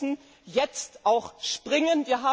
Wir müssen jetzt auch springen!